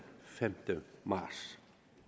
femte marts